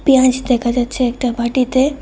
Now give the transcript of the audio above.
পেঁয়াজ দেখা যাচ্ছে একটা বাটিতে।